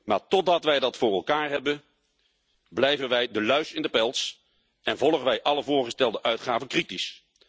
Maar totdat wij dat voor elkaar hebben, blijven wij de luis in de pels en volgen wij alle voorgestelde uitgaven kritisch.